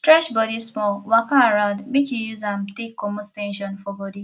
stretch bodi small waka around mek yu use am take comot ten sion for bodi